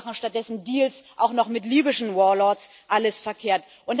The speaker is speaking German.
Wir machen stattdessen Deals auch noch mit libyschen Warlords alles verkehrt.